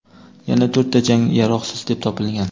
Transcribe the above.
Yana to‘rtta jang yaroqsiz deb topilgan.